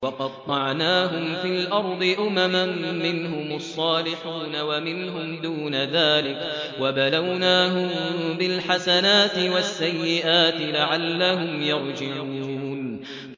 وَقَطَّعْنَاهُمْ فِي الْأَرْضِ أُمَمًا ۖ مِّنْهُمُ الصَّالِحُونَ وَمِنْهُمْ دُونَ ذَٰلِكَ ۖ وَبَلَوْنَاهُم بِالْحَسَنَاتِ وَالسَّيِّئَاتِ لَعَلَّهُمْ يَرْجِعُونَ